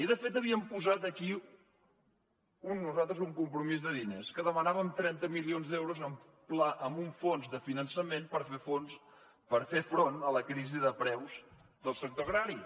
i de fet havíem posat aquí nosaltres un compromís de diners que demanàvem trenta milions d’euros amb un fons de finançament per fer front a la crisi de preus del sector agrari